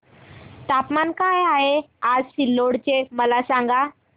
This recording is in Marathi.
तापमान काय आहे आज सिल्लोड चे मला सांगा